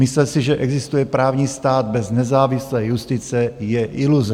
Myslet si, že existuje právní stát bez nezávislé justice, je iluze.